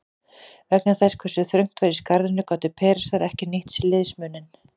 Vegna þess hve þröngt var í skarðinu gátu Persar ekki nýtt sér liðsmuninn.